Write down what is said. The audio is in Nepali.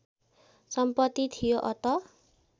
सम्पत्ति थियो अत